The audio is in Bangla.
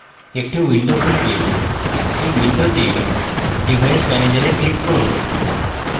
একটি window খুলবে এই window device manager a click করুন